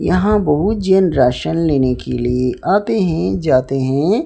यहां बहुत जैन राशन लेने के लिए आते हैं जाते हैं।